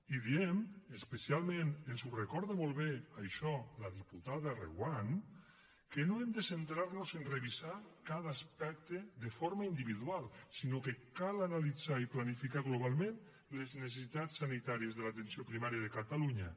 i diem especialment ens ho recorda molt bé això la diputada reguant que no hem de centrar nos a revisar cada aspecte de forma individual sinó que cal analitzar i planificar globalment les necessitats sanitàries de l’atenció primària de catalunya